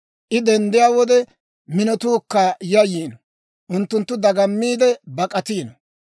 I denddiyaa wode, minotuukka yayyiino; unttunttu dagammiide bak'atiino.